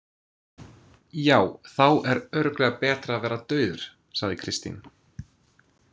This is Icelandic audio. Já, þá er örugglega betra að vera dauður, sagði Kristín.